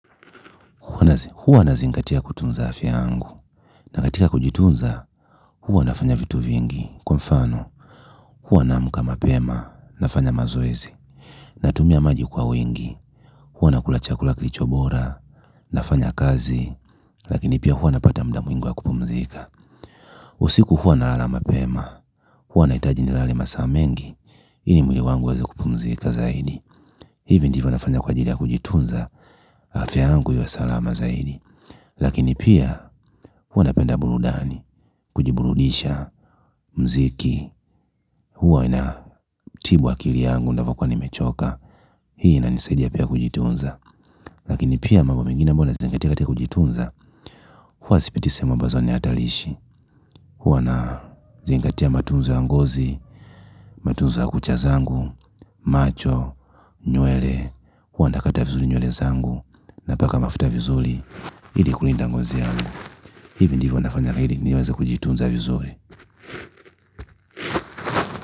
Huwa nazingatia kutunza afya yangu na katika kujitunza huwa nafanya vitu vingi kwa mfano huwa naamkama mapema nafanya mazoezi natumia maji kwa wingi huwa nakula chakula kilicho bora nafanya kazi lakini pia huwa napata mda mwingi wa kupumzika usiku huwa na lala mapema huwa nahitaji nilale masaa mengi ili mwili wangu uweze kupumzika zaidi hivi ndivyo nafanya kwa ajili ya kujitunza afya yangu iwe salama zaidi lakinipia huwa napenda burudani kujiburudisha mziki huwa ina tibu akili yangu navyokua nimechoka hii ina nisaidia pia kujitunza lakini pia mambo mengine ambayo nazingatia katika kujitunza huwa sipiti sehemu ambazo ni hatarishi huwa na zingatia matunzo ya ngozi. Matunzo ya kucha zangu macho nywele huwa nakata vizuri nywele zangu na paka mafuta vizuri ili kulinda ngozi yangu hivi ndivyo nafanya ili niweze kujitunza vizuri.